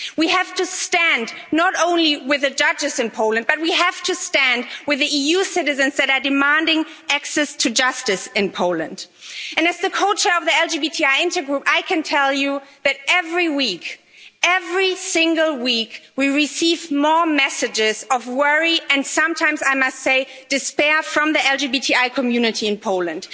We have to stand not only with the judges in Poland, but we have to stand with the EU citizens that are demanding access to justice in Poland. As the co chair of the LGBTI Intergroup, I can tell you that every week, every single week, we receive more messages of worry and sometimes, I must say, despair from the LGBTI community in Poland.